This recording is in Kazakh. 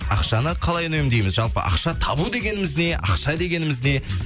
ақшаны қалай үнемдейміз жалпы ақша табу дегеніміз не ақша дегеніміз не